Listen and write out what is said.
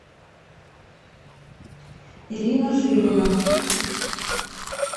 ирина жилина